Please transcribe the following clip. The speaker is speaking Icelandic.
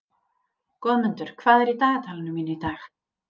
Goðmundur, hvað er í dagatalinu mínu í dag?